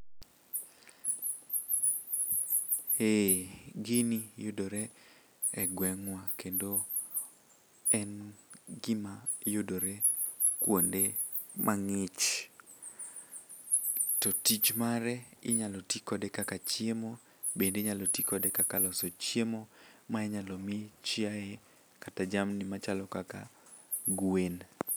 Eh, gini yudore e gweng'wa kendo en gima yudore kuonde mang'ich to tich mare inyalo ti kode kaka chiemo bende inyalo ti kode kaka loso chiemo ma inyalo mi chiaye kata jamni machalo kaka gwen.